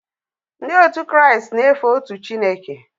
Ndị Kraịst na-efe otu Chineke